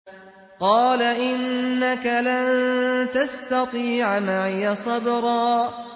قَالَ إِنَّكَ لَن تَسْتَطِيعَ مَعِيَ صَبْرًا